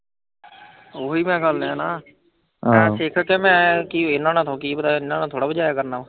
ਓਹੀਂ ਤਾਂ ਗੱਲ ਐ ਨਾ ਇੰਨਾਂ ਨਾਲ ਥੋੜਾ ਵਜਾਇਆ ਕਰਨਾ।